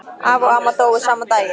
Afi og amma dóu sama daginn.